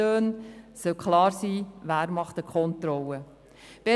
Weiter soll klar sein, wer Kontrollen vornimmt.